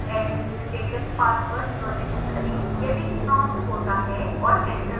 administrative password प्रविष्ट करें यदि prompted होता है और enter दबाएं